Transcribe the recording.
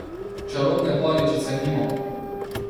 Čarobne paličice nimamo.